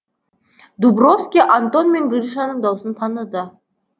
дубровский антон мен гришаның даусын таныды